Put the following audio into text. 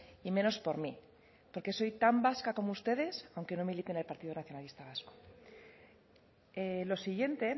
y menos por mí porque soy tan vasca como ustedes aunque no milite en el partido nacionalista vasco lo siguiente